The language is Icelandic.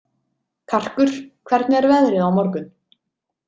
Karkur, hvernig er veðrið á morgun?